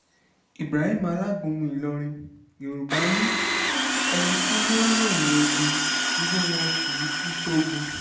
ibrahim alágúnmu ìlọrin yorùbá ni ẹni tí yóò ròyìn ogún irú wọn kì í kú sógun